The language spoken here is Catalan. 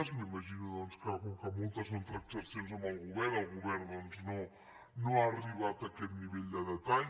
m’imagino doncs que com que moltes són transaccions amb el govern el govern no ha arribat a aquest nivell de detall